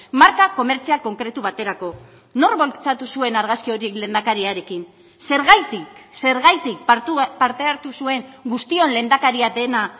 marka komertzial konkretu baterako nork bultzatu zuen argazki horiek lehendakariarekin zergatik zergatik parte hartu zuen guztion lehendakaria dena